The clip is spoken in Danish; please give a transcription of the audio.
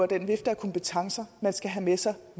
den vifte af kompetencer man skal have med sig